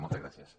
moltes gràcies